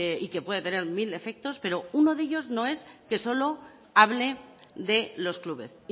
y que puede tener mil efectos pero uno de ellos no es que solo hable de los clubes